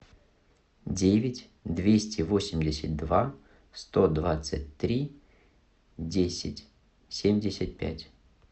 девять двести восемьдесят два сто двадцать три десять семьдесят пять